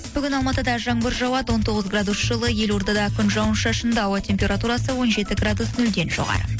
бүгін алматыда жаңбыр жауады он тоғыз градус жылы елордада күн жауын шашынды ауа температурасы он жеті градус нөлден жоғары